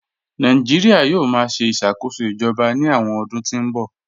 Nàìjíríà yóò máa ṣe ìṣàkóso ìjọba ní àwọn ọdún tí ń bọ̀